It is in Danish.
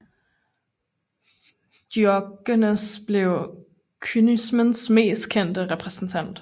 Diogenes blev kynismens mest kendte repræsentant